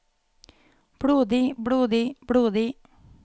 blodig blodig blodig